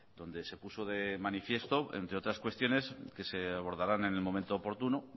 donde se puso de manifiesto entre otras cuestiones que se abordarán en el momento oportuno